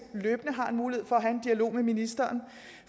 løbende har en mulighed for at have en dialog med ministeren